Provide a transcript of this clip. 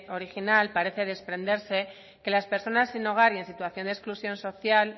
original parece desprenderse que las personas sin hogar y en situación de exclusión social